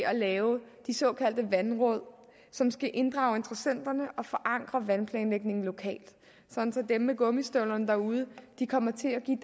at lave de såkaldte vandråd som skal inddrage interessenterne og forankre vandplanlægningen lokalt sådan at dem med gummistøvlerne derude kommer til at give